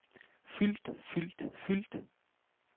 fyldt fyldt fyldt